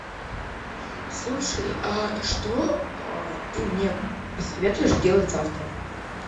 слушай а что ты мне посоветуешь сделать завтра